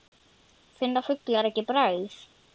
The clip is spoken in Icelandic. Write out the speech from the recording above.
Finna fuglar ekki bragð?